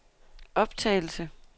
optagelse